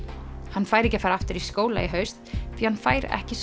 hann fær ekki að fara aftur í skóla í haust því hann fær ekki